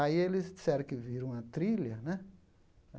Aí eles disseram que viram uma trilha, né?